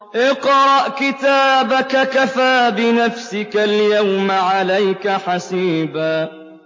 اقْرَأْ كِتَابَكَ كَفَىٰ بِنَفْسِكَ الْيَوْمَ عَلَيْكَ حَسِيبًا